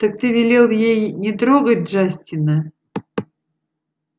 так ты велел ей не трогать джастина